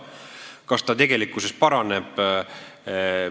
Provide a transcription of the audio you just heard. Kas olukord tegelikkuses paraneb?